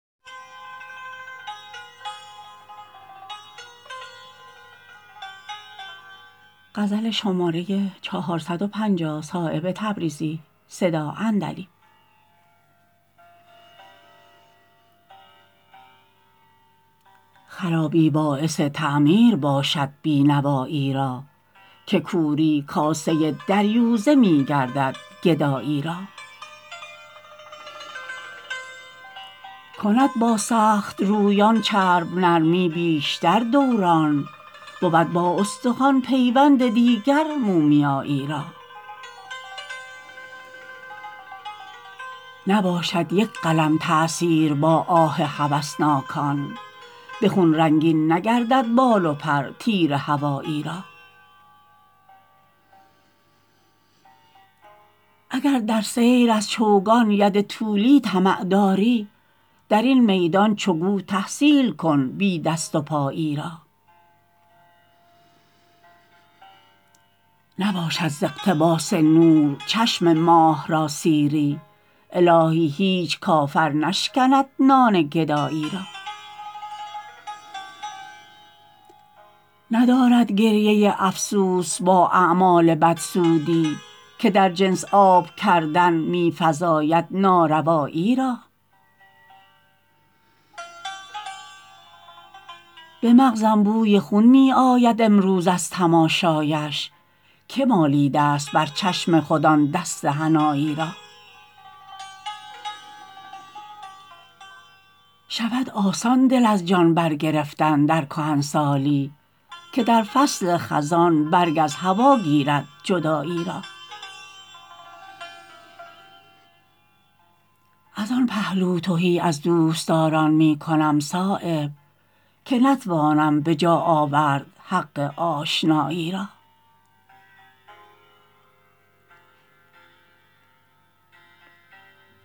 خرابی باعث تعمیر باشد بینوایی را که کوری کاسه دریوزه می گردد گدایی را کند با سخت رویان چرب نرمی بیشتر دوران بود با استخوان پیوند دیگر مومیایی را نباشد یک قلم تأثیر با آه هوسناکان به خون رنگین نگردد بال و پر تیر هوایی را اگر در سیر از چوگان ید طولی طمع داری درین میدان چو گو تحصیل کن بی دست و پایی را نباشد ز اقتباس نور چشم ماه را سیری الهی هیچ کافر نشکند نان گدایی را ندارد گریه افسوس با اعمال بد سودی که در جنس آب کردن می فزاید ناروایی را به مغزم بوی خون می آید امروز از تماشایش که مالیده است بر چشم خود آن دست حنایی را شود آسان دل از جان بر گرفتن در کهنسالی که در فصل خزان برگ از هوا گیرد جدایی را ازان پهلو تهی از دوستداران می کنم صایب که نتوانم به جا آورد حق آشنایی را